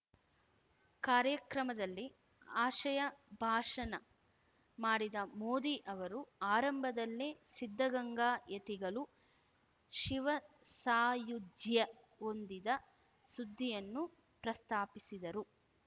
ಕಾರ್ಯಕ್ರಮದಲ್ಲಿ ಆಶಯ ಭಾಷಣ ಮಾಡಿದ ಮೋದಿ ಅವರು ಆರಂಭದಲ್ಲೇ ಸಿದ್ಧಗಂಗಾ ಯತಿಗಳು ಶಿವಸಾಯುಜ್ಯ ಹೊಂದಿದ ಸುದ್ದಿಯನ್ನು ಪ್ರಸ್ತಾಪಿಸಿದರು